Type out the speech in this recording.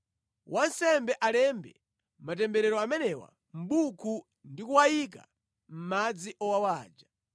“ ‘Wansembe alembe matemberero amenewa mʼbuku ndi kuwanyika mʼmadzi owawa aja.